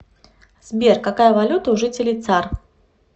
сбер какая валюта у жителей цар